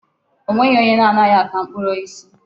O nweghị onye anaghị ata mkpụrụ osisi.